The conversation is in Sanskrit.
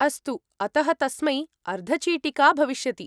अस्तु, अतः तस्मै अर्धचिटिका भविष्यति।